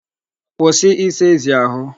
Kwụsị ịsa ezi ahụ.